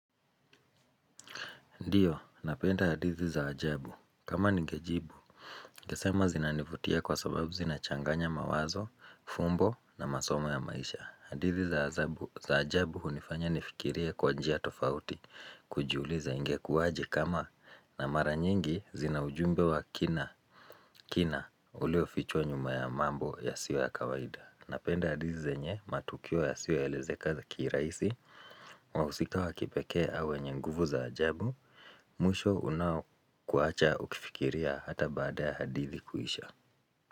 Ndiyo, napenda hadithi za ajabu. Kama nigejibu, ningesema zinanivutia kwa sababu zinachanganya mawazo, fumbo na masomo ya maisha. Hadithi za ajabu unifanya nifikirie kwa njia tofauti, kujiuliza ingekuwaje kama na mara nyingi zinaujumbe wa kina, kina ulio fichwa nyuma ya mambo ya siyo ya kawaida. Napenda hadithi zenye, matukio ya sioelezekeza kiraisi, wahusika wa kipekee au wenye nguvu za ajabu, mwisho unaokuacha ukifikiria hata baada hadithi kuisha.